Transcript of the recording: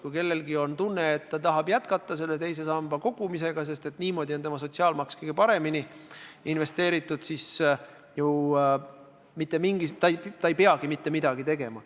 Kui kellelgi on tunne, et ta tahab jätkata teise sambasse kogumist, sest niimoodi on tema sotsiaalmaks kõige paremini investeeritud, siis ei peagi ta mitte midagi tegema.